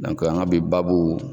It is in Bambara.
an ka bi babu.